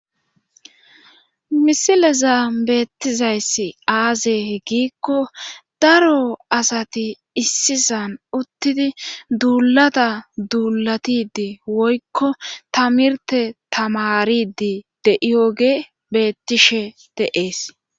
misileza beettizayss aaze he giikko daro asati issisan uttidi duulata duulatidi woykko tamirte tamaridi de7iyoge beettishe de7ees